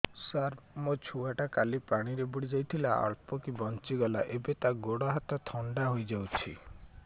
ସାର ମୋ ଛୁଆ ଟା କାଲି ପାଣି ରେ ବୁଡି ଯାଇଥିଲା ଅଳ୍ପ କି ବଞ୍ଚି ଗଲା ଏବେ ତା ଗୋଡ଼ ହାତ ଥଣ୍ଡା ହେଇଯାଉଛି